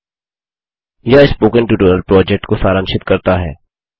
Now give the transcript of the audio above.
httpspoken tutorialorgWhat is a Spoken Tutorial यह spoken tutorial project को सारांशित करता है